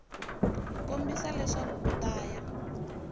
kombisa leswaku u ta ya